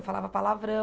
Eu falava palavrão.